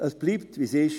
Es bleibt, wie es ist.